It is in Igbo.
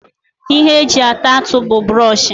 Ihe eji ata atụ bu buroshi